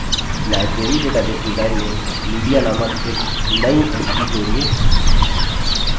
library database design में media नामक एक नई entity जोड़िये